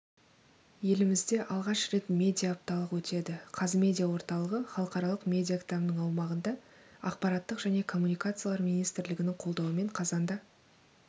елімізде алғаш рет медиаапталық өтеді қазмедиа орталығы іалықаралық медиаіабының аумағында ақпарат және коммуникациялар министрлігінің қолдауымен қазанда